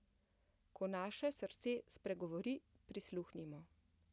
Ko naše srce spregovori, prisluhnimo!